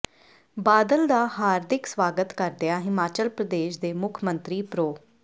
ਬਾਦਲ ਦਾ ਹਾਰਦਿਕ ਸਵਾਗਤ ਕਰਦਿਆਂ ਹਿਮਾਚਲ ਪ੍ਰਦੇਸ਼ ਦੇ ਮੁੱਖ ਮੰਤਰੀ ਪ੍ਰੋ